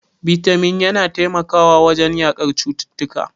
Bitamin yana taimakawa wajen yaƙar cututtuka.